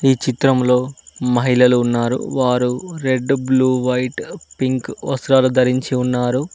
ఈ చిత్రంలో మహిళలు ఉన్నారు వారు రెడ్ బ్లూ వైట్ పింక్ వస్త్రాలు ధరించి ఉన్నారు.